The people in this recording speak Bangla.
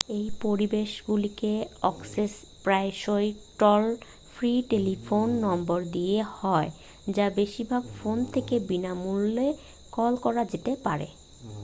এই পরিষেবাগুলিতে অ্যাক্সেস প্রায়শই টোল-ফ্রি টেলিফোন নম্বর দিয়ে হয় যা বেশিরভাগ ফোন থেকে বিনা মূল্যে কল করা যেতে পারে